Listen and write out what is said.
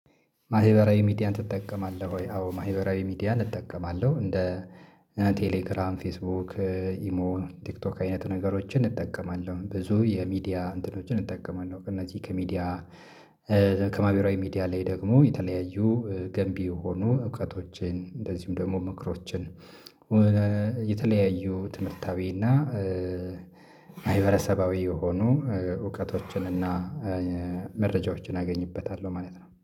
ማህበራዊ ሚዲያን ትጠቀማለህ ወይ? አዎ ማህበራዊ ሚዲያን እጠቀማለሁ እንደ ቴሌግራም ፌስቡክ ኢሞ ቲክቶክ አይነት ነገሮችን እንጠቀማለሁ። ብዙ የሚዲያ እንትኖችን እጠቀማለሁ። ከነዚህ ከሚዲያ ከማህበራዊ ሚዲያ ላይ ደግሞ የተለያዩ ገንቢ የሆኑ እውቀቶችን እንደዚሁም ደግሞ ምክሮችን። የተለያዩ ትምህርታዊና ማህበረሰባዊ የሆኑ እውቀቶችን እና መረጃዎችን አገኝበታለሁ ማለት ነው